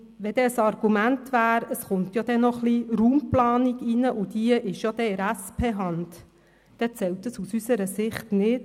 Wenn dann ein Argument käme, es komme noch ein wenig Raumplanung hinzu und diese sei bereits in SP-Hand, so zählt das aus unserer Sicht nicht.